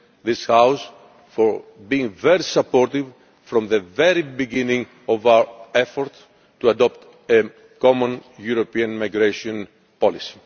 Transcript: again this House for being very supportive from the very beginning of our efforts to adopt a common European migration policy.